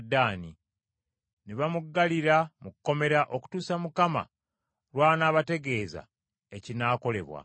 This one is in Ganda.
Ne bamuggalira mu kkomera okutuusa Mukama Katonda lw’anaabategeeza ekinaakolebwa.